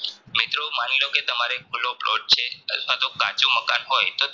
મિત્રો માની લોકે તમારે ખુલો plot છે અથવા તો કાચું મકાન હોય તો તમે